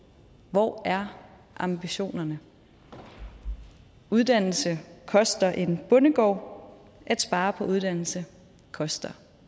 hvor er ambitionerne uddannelse koster en bondegård at spare på uddannelse koster